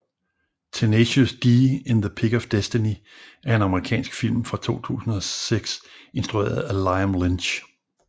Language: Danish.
Tenacious D in The Pick of Destiny er en amerikansk film fra 2006 instrueret af Liam Lynch